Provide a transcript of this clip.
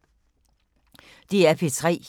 DR P3